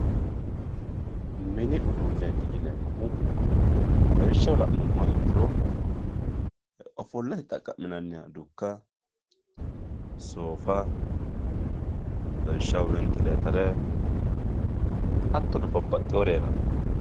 Mini uduunet yinemohu lawishshaho lanumoha ikiro ofolate xaqaminaniha dukka soofa lawishshaho wintletere hattono babaxewori heerano.